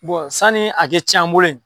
sanni a kɛ tiɲɛ an bolo yen.